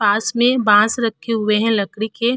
पास में बांस रखे हुए हैं लकड़ी के।